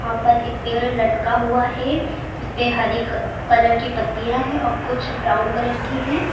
यहां पर एक पेड़ लटका हुआ है। इसपे हरी क कलर की पत्तियां है और कुछ ब्राउन कलर की हैं।